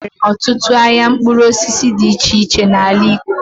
E nwere ọtutụ ahịa mkpụrụ osisi dị iche iche n'ala Igbo.